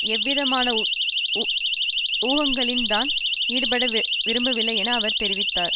எவ்விதமான ஊகங்களிலும் தான் ஈடுபடவிரும்பவில்லை என அவர் தெரிவித்தார்